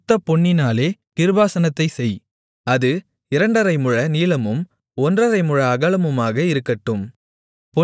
சுத்தப்பொன்னினாலே கிருபாசனத்தைச் செய் அது இரண்டரை முழ நீளமும் ஒன்றரை முழ அகலமுமாக இருக்கட்டும்